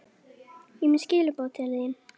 Ég er með skilaboð til þín.